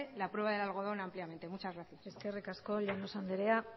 la prueba de algodón ampliamente muchas gracias eskerrik asko llanos andrea